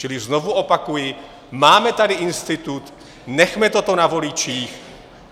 Čili znovu opakuji, máme tady institut, nechme toto na voličích.